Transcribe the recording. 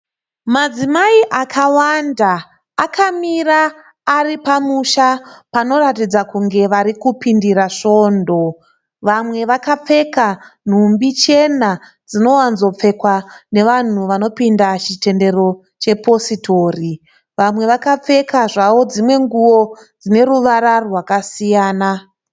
Madzimai akawanda akamira ari pamusha panoratidza kunge vari kupindira svondo. Vamwe vakapfeka nhumbi chena dzinowanzopfekwa nevanhu vanopinda chitendero chepositori. Vamwe vakapfeka zvavo dzimwe nguo dzine ruvara rwakasiyana.